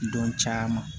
Dɔn caman